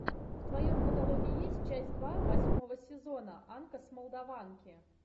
в твоем каталоге есть часть два восьмого сезона анка с молдаванки